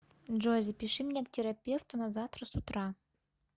джой запиши меня к терапевту на завтра с утра